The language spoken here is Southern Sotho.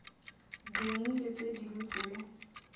ding le tse ding tse